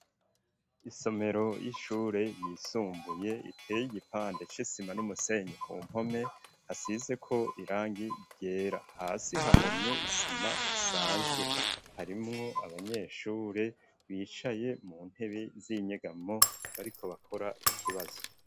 Isomero y'ishure ryisumbuye ,iteye igipande c'Isima n'umusenyi ku mpome, hasizeko irangi ryera, hasi hahomye isima isanzwe, harimwo abanyeshure bicaye mu ntebe z'inyegamo, bariko bakora ikibazo.